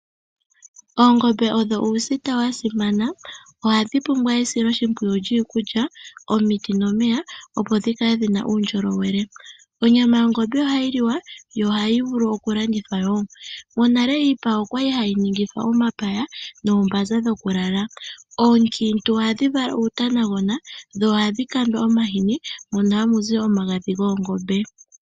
Oongombe odho uusita wa simana. Ohadhi pumbwa esiloshimpwiyu lyiikulya, omiti nomeya opo dhi kale dhina uundjolowele. Onyama yongombe ohayi liwa yo ohayi vulu wo okulandithwa. Monale iipa okwali hayi ningithwa omapaya noombanza dhokulala. Oonkiintu ohadhi vala uutaagona dho ohadhi kandwa omahini mono hamu zi omagadhi goongombe.